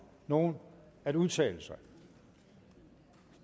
nogen at udtale sig